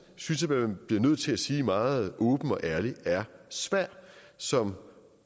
synes jeg man bliver nødt til at sige meget åbent og ærligt er svær som